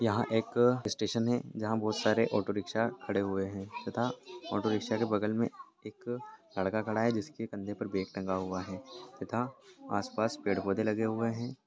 यहाँ एक स्टेशन हैं जहाँ बहोत सारे औटोरीक्षा खड़े हुए हैं तथा औटोरीक्षा के बगल मे एक लड़का खड़ा है जिसके कंधे पर बेग टंगा हुआ है तथा आसपास पेड़-पौधे लगे हुए हैं।